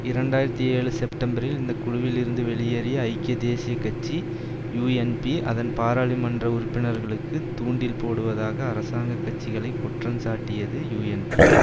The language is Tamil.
இரண்டு ஆயிரத்தி ஏழு செப்டெம்பரில் இந்த குழுவில் இருந்து வெளியேறிய ஐக்கிய தேசிய கட்சி யூஎன்பி அதன் பாராளுமன்ற உறுப்பினர்களுக்கு தூண்டில் போடுவதாக அரசாங்க கட்சிகளை குற்றஞ்சாட்டியது யூஎன்பி